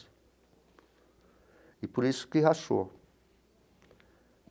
E por isso que rachou.